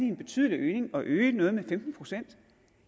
en betydelig øgning at øge noget med femten procent